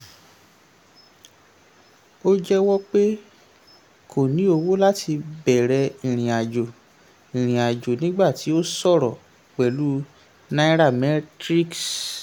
ó jẹ́wọ́ pé kò ní owó láti bẹrẹ̀ ìrìn-àjò ìrìn-àjò nígbà tí ó sọ̀rọ̀ pẹ̀lú nairametrics.